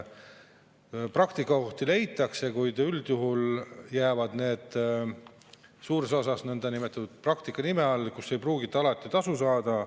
Praktikakohti leitakse, kuid üldjuhul jäävad need suures osas nõndanimetatud praktika nime alla, mille eest ei pruugita alati tasu saada.